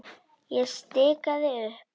Ég stikaði upp